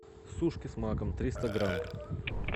сушки с маком триста грамм